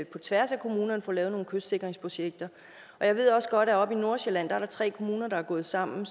på tværs af kommunerne får lavet nogle kystsikringsprojekter jeg ved også godt at oppe i nordsjælland er der tre kommuner der er gået sammen